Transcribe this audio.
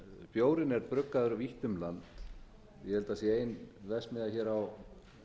bjórinn er bruggaður vítt um land ég held að sé ein verksmiðja hér á